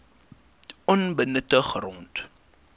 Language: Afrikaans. onbenutte grond